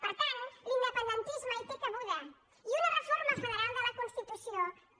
per tant l’independentisme hi té cabuda i una reforma federal de la constitució també